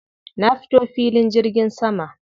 Na fito filin jirgin sama.